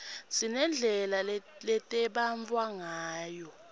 sinedlela letembatfwa ngayo